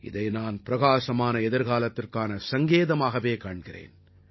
இதை நான் பிரகாசமான எதிர்காலத்திற்கான சங்கேதமாகவே காண்கிறேன்